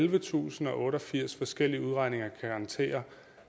ellevetusinde og otteogfirs forskellige udregninger kan garantere